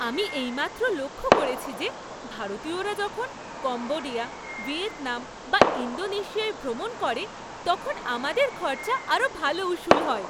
আমি এইমাত্র লক্ষ্য করেছি যে ভারতীয়রা যখন কম্বোডিয়া, ভিয়েতনাম বা ইন্দোনেশিয়ায় ভ্রমণ করে তখন আমাদের খরচা আরও ভাল উসুল হয়।